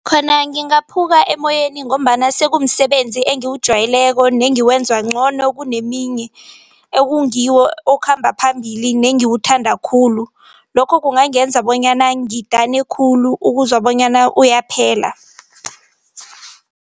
Khona ngingaphuka emoyeni ngombana sekumsebenzi engiwujwayeleko nengiwenza ngcono kuneminye ekungiwo okhamba phambili nengiwuthanda khulu. Lokho kungangenza bonyana ngidane khulu ukuzwa bonyana uyaphela.